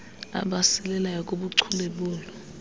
abasilelayo kubuchule bolu